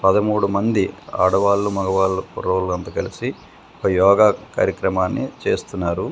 పదమూడు మంది ఆడవాళ్ళు మగవాళ్ళు కుర్రోళ్ళు అంతా కలిసి పై యోగా కార్యక్రమాన్ని చేస్తున్నారు.